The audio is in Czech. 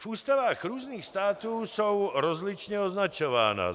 V ústavách různých států jsou rozličně označována.